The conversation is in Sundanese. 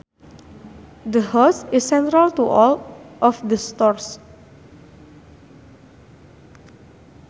The house is central to all of the stores